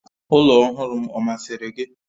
Ụlọ ọhụrụ m ọ masịrị gị?